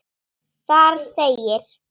Þar segir